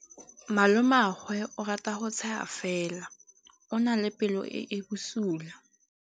Malomagwe o rata go tshega fela o na le pelo e e bosula.